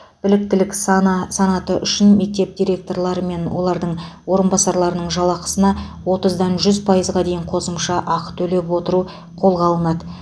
біліктілік саны санаты үшін мектеп директорлары мен олардың орынбасарларының жалақысына отыздан жүз пайызға дейін қосымша ақы төлеп арттыру қолға алынады